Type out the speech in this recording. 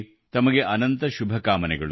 ತಮಗೆ ಅತ್ಯಂತ ಶುಭಕಾಮನೆಗಳು